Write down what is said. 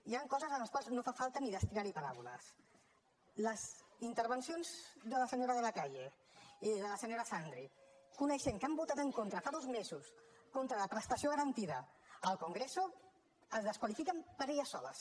hi han coses a les quals no fa falta ni destinar hi paraules les intervencions de la senyora de la calle i de la senyora xandri coneixent que han votat en contra fa dos mesos contra la prestació garantida al congreso es desqualifiquen per elles soles